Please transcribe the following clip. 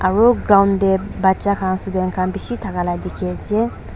aru ground te bacha khan student khan bishi thaka la dikhi ase.